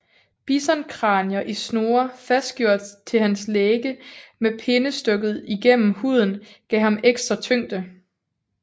Bisonkranier i snore fastgjort til hans lægge med pinde stukket gennem huden gav ham ekstra tyngde